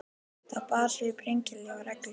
Það bar svip hreinleika og reglusemi.